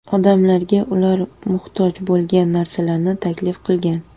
Odamlarga ular muhtoj bo‘lgan narsalarni taklif qilgan.